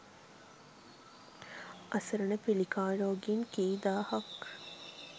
අසරණ පිළිකා රෝගීන් කී දාහක්